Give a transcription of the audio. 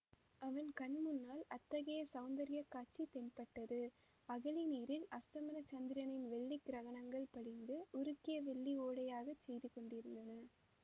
அவன் கண் முன்னால் அத்தகைய சௌந்தர்யக் காட்சி தென்பட்டது அகழி நீரில் அஸ்தமன சந்திரனின் வெள்ளிக்கிரணங்கள் படிந்து உருக்கிய வெள்ளி ஓடையாகச் செய்து கொண்டிருந்தன